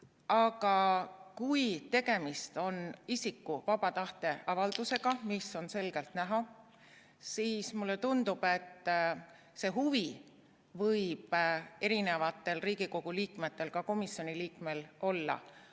Aga kui tegemist on isiku vaba tahte avaldusega, mis on selgelt näha, siis mulle tundub, et see huvi võib Riigikogu liikmetel, ka komisjoni liikmel olla.